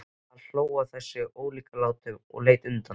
Hann hló að þessum ólíkindalátum og leit undan.